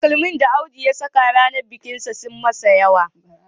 Takalman da Audu ya saka ranar bikinsa sun yi masa yawa